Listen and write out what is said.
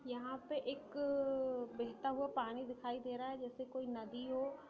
यहाँ पे एक बेहता हुआ पानी दिखाई दे रहा है जैसे की कोई नदी हो।